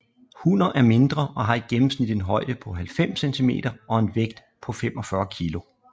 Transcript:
Hunner er mindre og har i gennemsnit en højde på 90 cm og en vægt på 45 kg